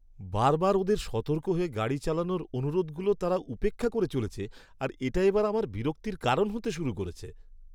বারবার ওদের সতর্ক হয়ে গাড়ি চালানোর অনুরোধগুলো তারা উপেক্ষা করে চলেছে, আর এটা এবার আমার বিরক্তির কারণ হতে শুরু করেছে।